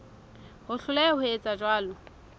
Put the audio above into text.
ho hloleha ho etsa jwalo